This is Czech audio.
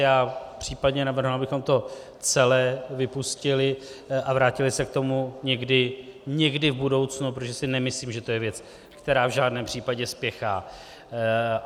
Já případně navrhnu, abychom to celé vypustili a vrátili se k tomu někdy v budoucnu, protože si nemyslím, že to je věc, která v žádném případě spěchá.